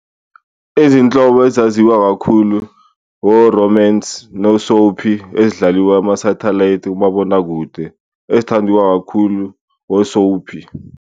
Izinhlobo ezaziwa kakhulu o-romance no-soapie ezidlaliwa ama-satellite, umabonakude. Ezithandiwa kakhulu o-soapie.